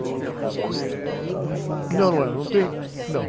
O senhor mesmo não era de escola, né, senhor ?ão, não era, não tem, não.